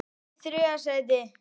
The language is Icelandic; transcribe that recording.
Það var þó ekki.?